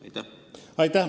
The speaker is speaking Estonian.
Aitäh!